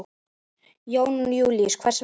Jón Júlíus: Hvers vegna?